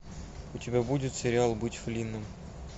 у тебя будет сериал быть флинном